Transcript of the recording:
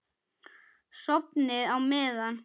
Sofnið á meðan.